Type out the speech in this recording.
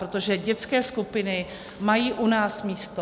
Protože dětské skupiny mají u nás místo.